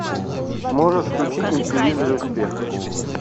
можешь включить на телевизоре успех